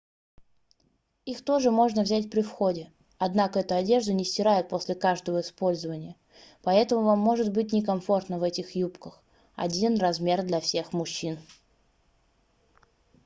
их тоже можно взять при входе однако эту одежду не стирают после каждого использования поэтому вам может быть некомфортно в этих юбках один размер для всех мужчин